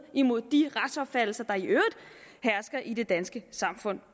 mod de retsopfattelser der i øvrigt hersker i det danske samfund